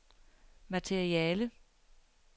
materiale